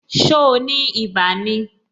So ni ibà ni?